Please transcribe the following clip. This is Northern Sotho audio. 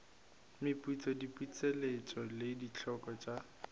meputso diputseletšo le dikholo tša